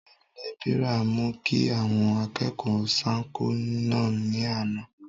olóyè lébìrà mú kí àwọn akẹ́kọ̀ọ́ sánko náà ní àná